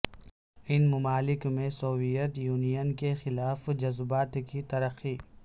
ان ممالک میں Soviet Union کے خلاف جذبات کی ترقی